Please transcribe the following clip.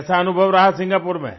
कैसा अनुभव रहा सिंगापुर में